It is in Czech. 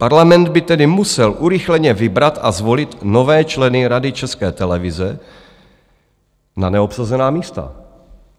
Parlament by tedy musel urychleně vybrat a zvolit nové členy Rady České televize na neobsazená místa.